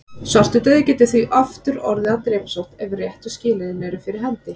Svartidauði getur því aftur orðið að drepsótt ef réttu skilyrðin eru fyrir hendi.